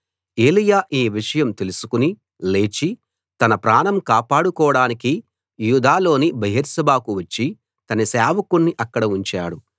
ఏలీయా ఈ విషయం తెలుసుకుని లేచి తన ప్రాణం కాపాడుకోడానికి యూదాలోని బెయేర్షెబాకు వచ్చి తన సేవకుణ్ణి అక్కడ ఉంచాడు